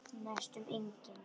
Næstum engin.